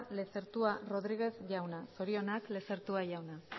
lezertua rodríguez jauna zorionak lezertua jauna